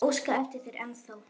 Ég óska eftir þér ennþá.